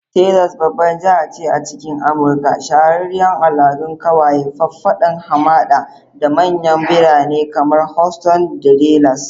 Texas babbar jaha ce a cikin Amurka, shahararriyar al'adun kawaye, faffadan hamada, da manyan birane kamar Houston da Dallas.